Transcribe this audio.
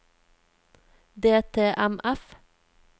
DTMF